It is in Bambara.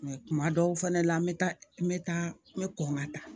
Mɛ kuma dɔw fɛnɛ la n bɛ taa n bɛ taa n bɛ kɔn ka taa